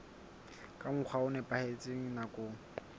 ka mokgwa o nepahetseng nakong